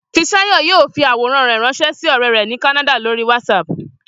Fisáyọ̀ yóò fi àwòrán rẹ̀ ránṣẹ́ sí ọ̀rẹ́ rẹ̀ ní Kánádà lórí WhatsApp